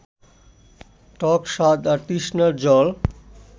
টক স্বাদ আর তৃষ্ণার জল